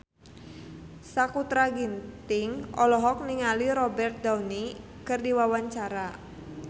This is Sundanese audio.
Sakutra Ginting olohok ningali Robert Downey keur diwawancara